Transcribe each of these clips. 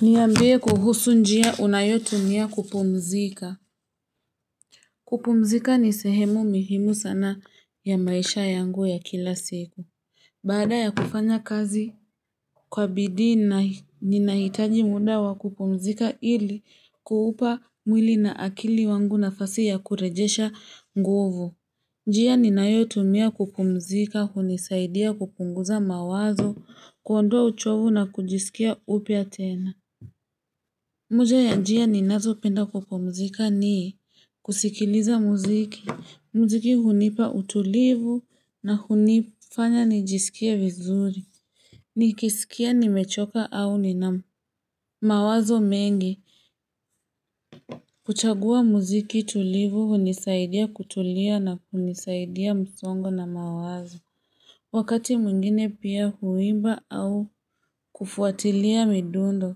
Niambie kuhusu njia unayotumia kupumzika. Kupumzika ni sehemu muhimu sana ya maisha yangu ya kila siku. Baada ya kufanya kazi kwa bidii ninahitaji muda wa kupumzika ili kuupa mwili na akili wangu nafasi ya kurejesha nguvu. Njia ninayotumia kupumzika hunisaidia kupunguza mawazo kuondoa uchovu na kujisikia upya tena. Moja ya njia ninazopenda kupumzika ni kusikiliza muziki, muziki hunipa utulivu na hunifanya nijisikie vizuri. Nikisikia nimechoka au nina mawazo mengi huchagua muziki tulivu hunisaidia kutulia na kunisaidia msongo na mawazo. Wakati mwingine pia huimba au kufuatilia midundo,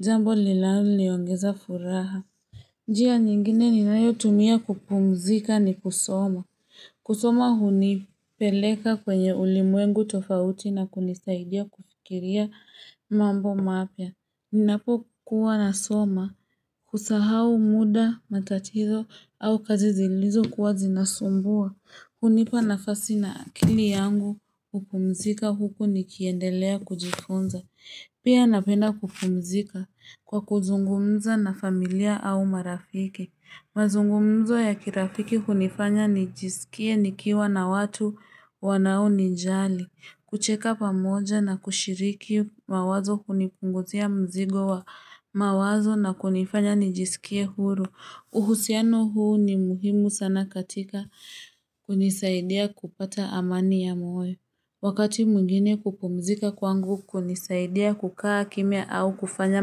jambo linaloniongeza furaha. Njia nyingine ninayotumia kupumzika ni kusoma. Kusoma hunipeleka kwenye ulimwengu tofauti na kunisaidia kufikiria mambo mapya. Ninapokuwa nasoma, kusahau muda, matatizo au kazi zilizokuwa zinasumbua. Hunipa nafasi na akili yangu, hupumzika huku nikiendelea kujifunza. Pia napenda kupumzika kwa kuzungumza na familia au marafiki. Mazungumzo ya kirafiki hunifanya nijisikie nikiwa na watu wanao nijali. Kucheka pamoja na kushiriki mawazo hunipunguzia mzigo wa mawazo na kunifanya nijisikie huru. Uhusiano huu ni muhimu sana katika kunisaidia kupata amani ya moyo. Wakati mwingine kupumzika kwangu kunisaidia kukaa kimya au kufanya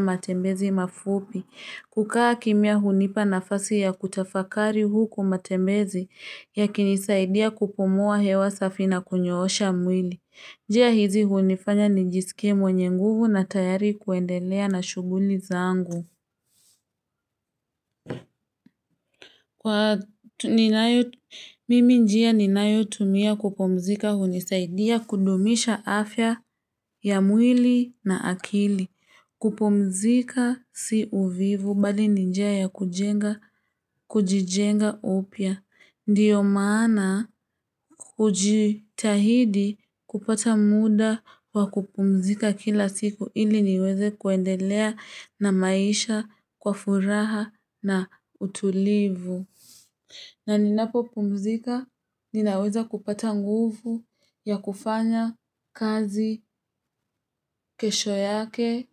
matembezi mafupi. Kukaa kimya hunipa nafasi ya kutafakari huku matembezi yakinisaidia kupumua hewa safi na kunyoosha mwili. Njia hizi hunifanya nijisikie mwenye nguvu na tayari kuendelea na shughuli zangu. Kwa mimi njia ninayotumia kupumzika hunisaidia kudumisha afya ya mwili na akili. Kupumzika si uvivu bali ni njia ya kujenga, kujijenga upya. Ndiyo maana kujitahidi kupata muda wa kupumzika kila siku ili niweze kuendelea na maisha kwa furaha na utulivu. Na ninapopumzika ninaweza kupata nguvu ya kufanya kazi kesho yake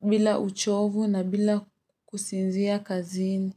bila uchovu na bila kusinzia kazini.